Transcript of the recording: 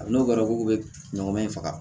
Hali n'o kɛra k'o bɛ ɲɔgɔmɛ in faga